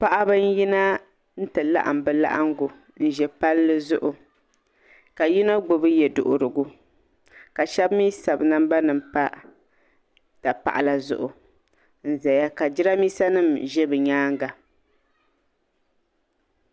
paɣaba n-yina n-ti laɣim bɛ laɣingu n-ʒi palli zuɣu ka yino gbubi ye' duhirigu ka shɛba mi sabi namba nima m-pa dapaɣila zuɣu n-zaya ka jiramiinsa nima ʒe bɛ nyaaga.